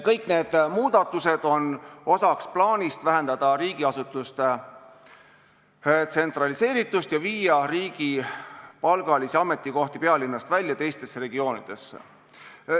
Kõik need muudatused on osa plaanist vähendada riigiasutuste tsentraliseeritust ja viia riigipalgalisi ametikohti pealinnast välja teistesse regioonidesse.